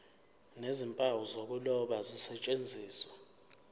nezimpawu zokuloba zisetshenziswe